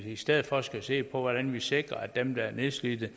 i stedet for skal se på hvordan vi sikrer at dem der er nedslidte